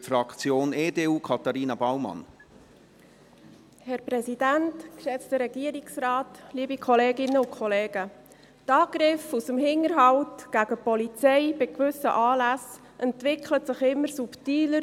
Die Angriffe aus dem Hinterhalt gegen die Polizei bei gewissen Anlässen entwickeln sich immer subtiler.